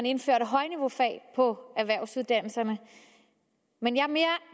indføre højniveaufag på erhvervsuddannelserne men jeg er